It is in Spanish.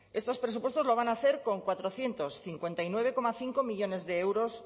estos presupuestos lo van a hacer con cuatrocientos cincuenta y nueve coma cinco millónes de euros